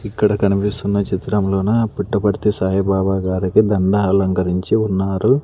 ఇక్కడ కనిపిస్తున్న చిత్రంలోన పుట్టపర్తి సాయిబాబా గారికి దండ అలంకరించి ఉన్నారు.